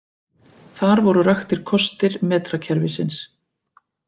Þar voru raktir kostir metrakerfisins.